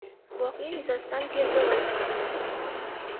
Voqea yuzasidan tergov olib borilmoqda.